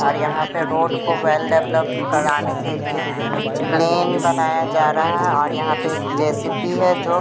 और यहां पे रोड को वेल डेवलपड कराने के लिए प्लेन बनाया जा रहा है और यहां पे एक जेसीपी है जो --